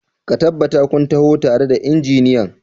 Ka tabbata kun taho tare da injiniyan!